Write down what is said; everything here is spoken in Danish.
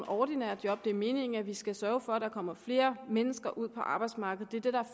ordinære job det er meningen at vi skal sørge for at der kommer flere mennesker ud på arbejdsmarkedet